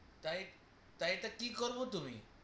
তাই তো তাই কি করলো তুমি